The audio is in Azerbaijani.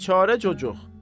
Biçarə cocuq!